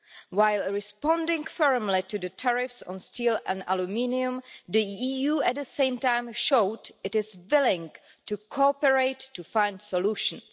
While responding firmly to the tariffs on steel and aluminium, the EU at the same time showed it is willing to cooperate to find solutions.